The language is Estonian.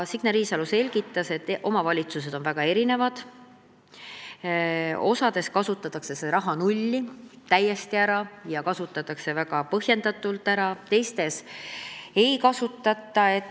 Signe Riisalo selgitas, et omavalitsused on väga erinevad, mõnes kasutatakse see raha täiesti ära ja seda kasutatakse väga põhjendatult, mõnes teises ei kasutata.